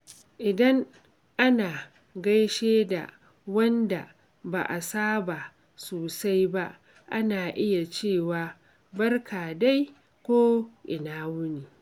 Idan ana gaishe da wanda ba'a saba sosai ba, ana iya cewa "Barka dai" ko "Ina wuni."